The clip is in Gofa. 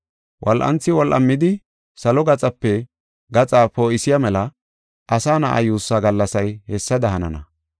Wol7anthi wol7amidi salo gaxape gaxa poo7isiya mela Asa Na7aa yuussaa gallasay hessada hanana.